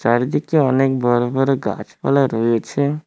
চারিদিকে অনেক বড় বড় গাছপালা রয়েছে।